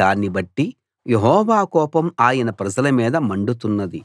దాన్నిబట్టి యెహోవా కోపం ఆయన ప్రజల మీద మండుతున్నది